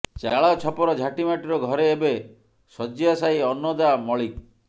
ଚାଳ ଛପର ଝାଟିମାଟିର ଘରେ ଏବେ ଶଜ୍ୟାଶାୟୀ ଅନ୍ନଦା ମଳିକ